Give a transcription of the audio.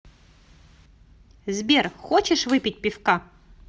сбер хочешь выпить пивка